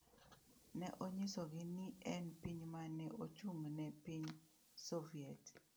Ne onyisogi ni en piny ma ne ochung’ ne piny Soviet.